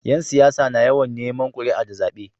Yan siyasa na yawan Neman kuria da zabe